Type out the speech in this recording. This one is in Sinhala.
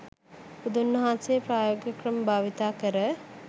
බුදුන් වහන්සේ ප්‍රායෝගික ක්‍රම භාවිතා කර